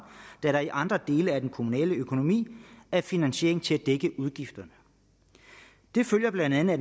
da der i andre dele af den kommunale økonomi er finansiering til at dække udgifterne det følger blandt andet af